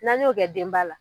N'an y'o kɛ denba la